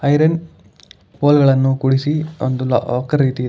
Iron hole ಗಳನ್ನು ಒಂದು lock ರೀತಿ ಇದೆ.